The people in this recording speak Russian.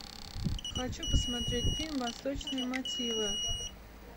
хочу посмотреть фильм восточные мотивы